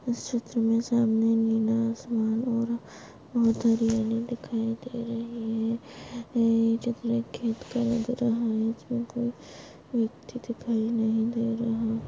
इस चित्र मे सामने नीला आसमान और बहुत हरियाली दिखाई दे रही है ये चित्र खेत का लग रहा है आजूबाजू व्यक्ति दिखाई नहीं दे रहे--